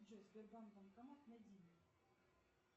джой сбербанк банкомат найди мне